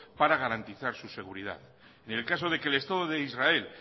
para garantizar su seguridad en el caso de que el estado de israel